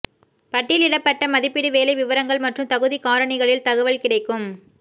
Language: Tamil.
பட்டியலிடப்பட்ட மதிப்பீடு வேலை விவரங்கள் மற்றும் தகுதி காரணிகளில் தகவல் கிடைக்கும்